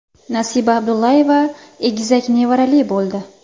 Nasiba Abdullayeva egizak nevarali bo‘ldi.